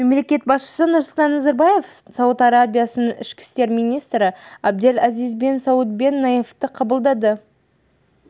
мемлекет басшысы нұрсұлтан назарбаев сауд арабиясының ішкі істер министрі абдель азиз бен сауд бен наифты қабылдады